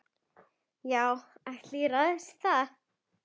Já, allt ræðst þá.